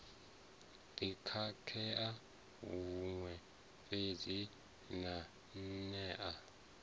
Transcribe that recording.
ḓi khakhea huṅwe fhedzi maanea